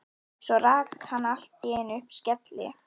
Svo rak hann allt í einu upp skelli